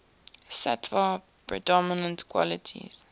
sattva predominant qualities